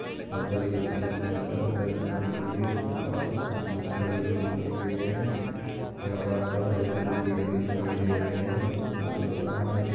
यहाँ पर एक रिक्सा पिले काले हरे रंग की दिख रही है उसके पास में कुछ लोग खड़े हुए दिखाई दे रहै है यहाँ पास में हरे भरे पेड़ भी दिखाई दे रहे है बड़ा खूबसूरत लग रहा है।